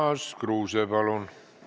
Urmas Kruuse, palun!